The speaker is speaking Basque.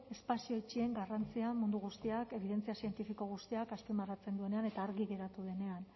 espazio itxien garrantzia mundu guztiak ebidentzia zientifiko guztiak azpimarratzen duenean eta argi geratu denean